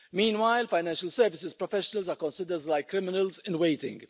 Meanwhile, financial services professionals are considered like criminals in waiting.